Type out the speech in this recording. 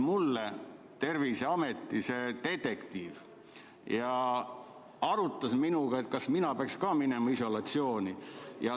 Mulle helistas Terviseameti detektiiv ja arutas minuga, kas mina peaks ka minema isolatsiooni.